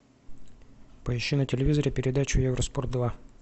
поищи на телевизоре передачу евроспорт два